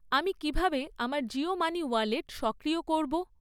আমি কীভাবে আমার জিও মানি ওয়ালেট সক্রিয় করব?